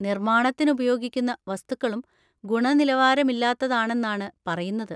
നിർമാണത്തിന് ഉപയോഗിക്കുന്ന വസ്തുക്കളും ഗുണനിലവാരമില്ലാത്തതാണെന്നാണ് പറയുന്നത്.